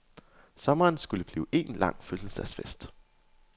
Sommeren skulle blive en lang fødselsdagsfest.